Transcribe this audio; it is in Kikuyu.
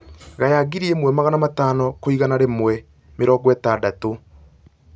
gaya ngiri ĩmwe magana matano kwĩigana rĩmwe mĩrongo ĩtandatũ